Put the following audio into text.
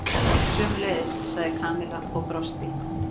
Sömuleiðis sagði Kamilla og brosti.